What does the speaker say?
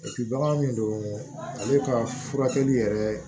bagan min don ale ka furakɛli yɛrɛ